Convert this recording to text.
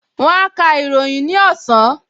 Wón á ka ìròyìn ní ọ̀sán